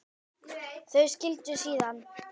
Þau skildu síðan.